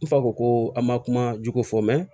N fa ko an ma kuma jugu fɔ